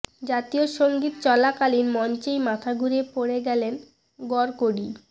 জাতীয় সঙ্গীত চলাকালীন মঞ্চেই মাথা ঘুরে পড়ে গেলেন গড়করি